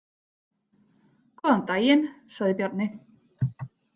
Góðan daginn, sagði Bjarni.